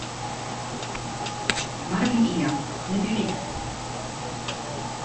марли и я набери